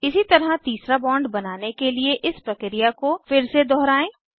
इसी तरह तीसरा बॉन्ड बनाने के लिए इस प्रक्रिया को फिर से दोहराएं